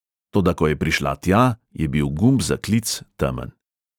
Toda ko je prišla tja, je bil gumb za klic temen.